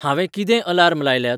हांंवें कितें अलार्म लायल्यात